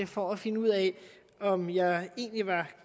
for at finde ud af om jeg egentlig var